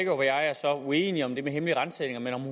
og jeg er så uenige om det med hemmelige ransagninger men